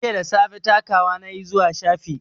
Jiya da safe takawa na yi zuwa shafi